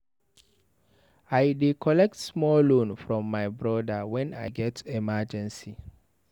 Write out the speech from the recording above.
I dey collect small loan from my broda wen I get emergency.